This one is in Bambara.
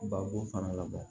Ba bo fana labɔ